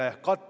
Aitäh!